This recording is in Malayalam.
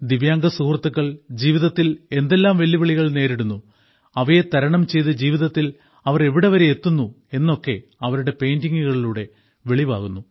ദിവ്യാംഗ സുഹൃത്തുക്കൾ ജീവിതത്തിൽ എന്തെല്ലാം വെല്ലുവിളികൾ നേരിടുന്നു അവയെ തരണം ചെയ്ത് ജീവിതത്തിൽ അവർ എവിടം വരെ എത്തുന്നു എന്നൊക്കെ അവരുടെ പെയിന്റിങ്ങുകളിലൂടെ വെളിവാകുന്നു